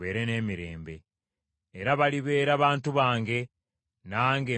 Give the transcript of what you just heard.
Era balibeera bantu bange, nange mbeere Katonda waabwe.